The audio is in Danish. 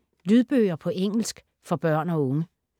Lydbøger på engelsk for børn og unge